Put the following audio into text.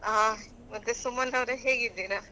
ಹಾ ಮತ್ತೆ ಸುಮಂತವ್ರೆ ಹೇಗಿದ್ದೀರಾ?